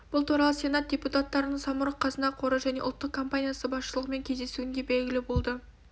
бұл туралы сенат депутаттарының самұрық-қазына қоры және ұлттық компаниясы басшылығымен кездесуінде белгілі болды